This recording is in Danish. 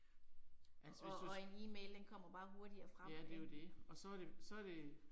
Og og en e-mail den kommer bare hurtigere frem ik